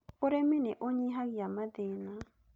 Ũrĩmi nĩ ũnyihagia mathĩna